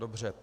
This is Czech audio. Dobře.